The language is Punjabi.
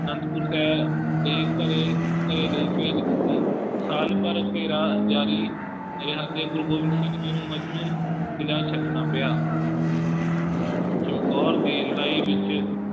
ਆਨੰਦਪੁਰ ਸਾਹਿਬ ਦੇ ਘਰੇ ਘੇਰੇ ਲਈ ਭੇਜ ਦਿੱਤੀ, ਸਾਲ ਭਰ ਘੇਰਾ ਜਾਰੀ ਰਿਹਾ ਤੇ ਗੁਰੂ ਗੋਬਿੰਦ ਸਿੰਘ ਜੀ ਨੂੰ ਕਿਲਾ ਛੱਡਣਾ ਪਿਆ ਚਮਕੌਰ ਦੀ ਲੜਾਈ ਵਿੱਚ